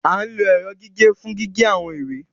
A ń lo ẹrọ gige fun gige awọn iwe